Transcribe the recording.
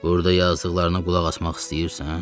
Burda yazdıqlarına qulaq asmaq istəyirsən?